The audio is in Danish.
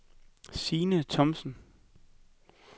Signe Thomsen